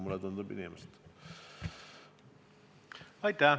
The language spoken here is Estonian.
Aitäh!